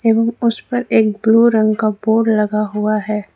ए गो उस पर ब्लू रंग का बोर्ड लगा हुआ है।